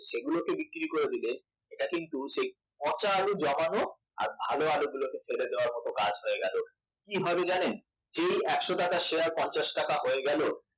সেইগুলো কে বিক্রি করে দিলে সেটা কিন্তু পচা আলু জমা হোক আর ভালো আলু গুলোকে ফেলে দেওয়ার মত কাজ হয়ে গেল কি হবে জানেন যেই একশ টাকার শেয়ার পঞ্চাশ টাকা হয়ে গেল